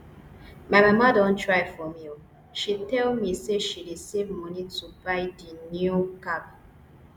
my mama don try for me oo she tell me say she dey save money to buy me new cab